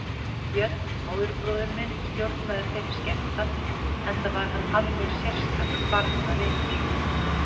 Björn, móðurbróðir minn, stjórnaði þeirri skemmtan enda var hann alveg sérstakur barnavinur.